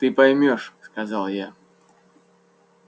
ты поймёшь сказал я